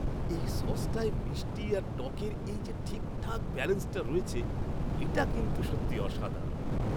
এই সসটায় মিষ্টি আর টকের এই যে ঠিকঠাক ব্যালেন্সটা রয়েছে, এটা কিন্তু সত্যি অসাধারণ!